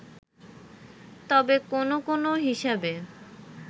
তবে কোন কোন হিসাবে